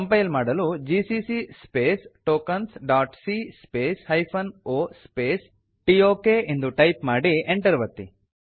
compile ಮಾಡಲು GCC space tokens dot c space hyphen O space tokಎಂದು type ಮಾಡಿ Enter ಒತ್ತಿ